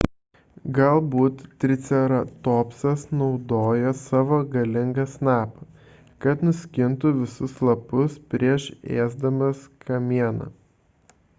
galbūt triceratopsas naudojo savo galingą snapą kad nuskintų visus lapus prieš ėsdamas kamieną